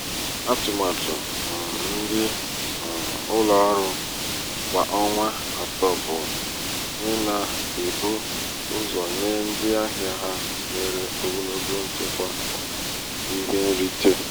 atụmatụ um ndị um ụlọ ọrụ kwa ọnwa atọ bụ um ịna-ebu ụzọ nye ndị ahịa ha nwere ogologo nchekwa akụ ihe nrite.